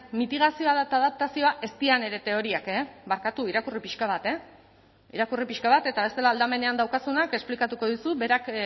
mitigazioa eta adaptazioa ez dira nire teoriak e barkatu irakurri pixka bat e irakurri pixka bat eta bestela aldamenean daukazunak esplikatuko dizu berak